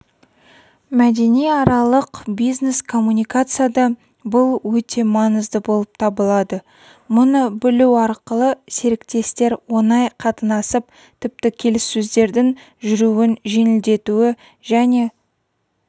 мәдениаралық бизнес-коммуникацияда бұл өте маңызды болып табылады мұны білу арқылы серіктестер оңай қатынасып тіпті келіссөздердің жүруін жеңілдетуі және